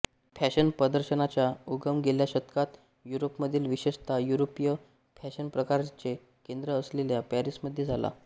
फॅशनप्रदर्शनांचा उगम गेल्या शतकात यूरोपमध्ये विशेषतः यूरोपीय फॅशनप्रकारांचे केंद्र असलेल्या पॅरिसमध्ये झाला